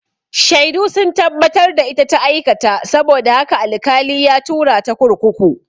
Shaidu sun tabbatar da ita ta aikata saboda haka al-kali ya tura ta kurkuku